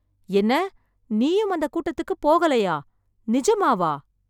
என்ன நீயும் அந்த கூட்டத்துக்குப் போகலையா, நிஜமாவா?